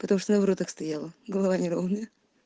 потому что на воротах стояла голова неровная